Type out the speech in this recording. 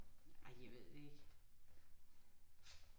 Ej jeg ved ikke